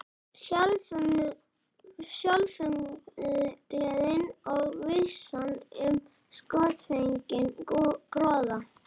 Sjálfumgleðin og vissan um skjótfenginn gróða.